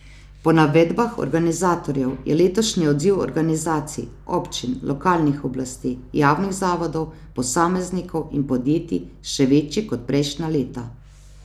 Po navedbah organizatorjev je letošnji odziv organizacij, občin, lokalnih oblasti, javnih zavodov, posameznikov in podjetij še večji kot prejšnja leta.